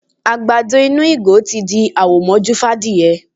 Àgbàdo inú ìgò tí di àwò mọ́jú fún adìyẹ.